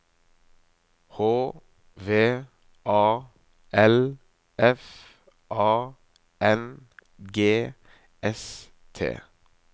H V A L F A N G S T